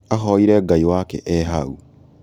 ahoire ngai wake e hau